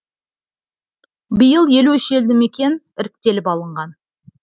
биыл елу үш елді мекен іріктеліп алынған